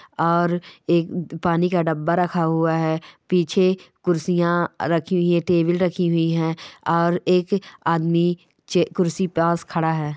और एक पानी का डब्बा रखा हुआ है पीछे कुर्सीयां रखी हुई है टेबुल रखी हुई है और एक आदमी चे-कुर्सी पास खड़ा है।